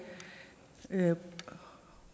værre